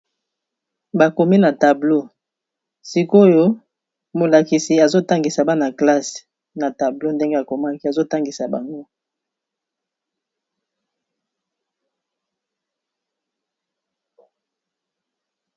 Bakomi na tablo, sikoyo molakisi azotangisa bana classe na tablo ndenge akomaki azotangisa bango.